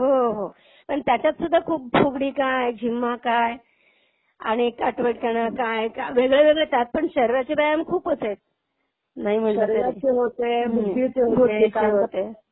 हो हो. हो. पण त्याच्यात सुद्धा खूप फुगडी काय, झिम्मा काय आणि काटवटकाना काय वेगळेवेगळे त्यात पण शरीराचे व्यायाम खूप असायचे. नाही म्हंटलं तरी. शरीराचे होते, बुद्धीचे होते. बुद्धीचे होते.